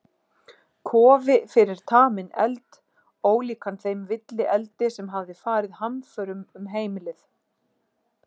Kofi fyrir taminn eld, ólíkan þeim villieldi sem hafði farið hamförum um heimilið.